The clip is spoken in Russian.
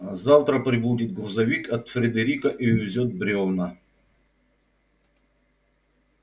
завтра прибудет грузовик от фредерика и увезёт брёвна